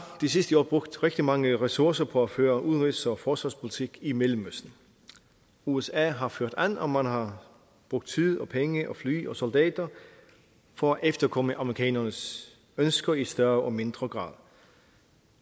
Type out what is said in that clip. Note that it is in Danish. de sidste år brugt rigtig mange ressourcer på at føre udenrigs og forsvarspolitik i mellemøsten usa har ført an og man har brugt tid og penge og fly og soldater for at efterkomme amerikanernes ønsker i større og mindre grad